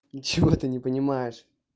ничего ты не понимаешь